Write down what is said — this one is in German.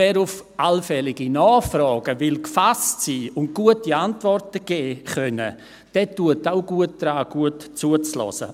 Wer auf allfällige Nachfragen gefasst sein und gute Antworten geben können will, tut gut daran, gut zuzuhören.